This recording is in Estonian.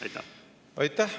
Aitäh!